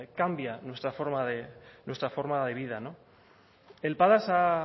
cambia nuestra forma de vida el padas ha